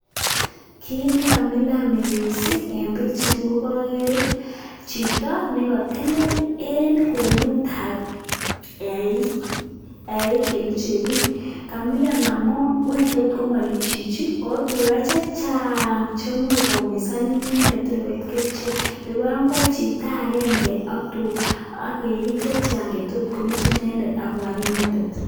kit nekamilan missing en pichaini kogere nekotelel en kwenutab eik cheluche biik. Kamilan amun wany tos komaluch chichi? ako tugaa chechang cheimuch koyumisan inendet kotor koit kerichek. Nebo oeng koik chito agenge am eik chechang chetotkuluch inendet ak kobaar inendet